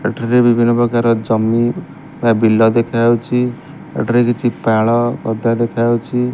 ଏଠାରେ ବିଭିନ୍ନ ପ୍ରକାର ଜମି ବା ବିଲ ଦେଖାଯାଉଛି ଏଠାରେ କିଛି ପାଳ ଗଦା ଦେଖାଯାଉଛି।